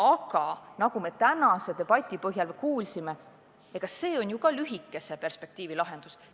Aga nagu me tänases debatis kuulsime, see on ju ka lühikese perspektiiviga lahendus.